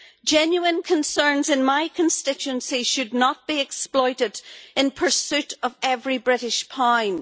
Genuine concerns in my constituency should not be exploited in pursuit of every British pound.